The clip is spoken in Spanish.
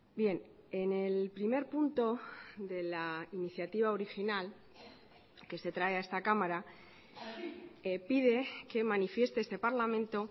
bien en el primer punto de la iniciativa original que se trae a esta cámara pide que manifieste este parlamento